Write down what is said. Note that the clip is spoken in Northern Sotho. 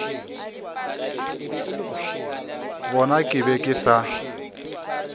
bona ke be ke sa